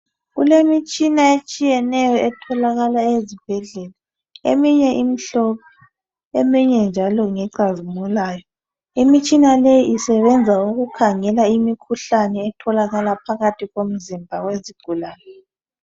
Kulemitshina etshiyeneyo etholakala ezibhedlela eminye imhlophe, eminye njalo ngecazimulayo. Imitshina leyi isebenza ukukhangela imikhuhlane etholakala phakathi komzimba wezigulane.